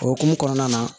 O hokumu kɔnɔna na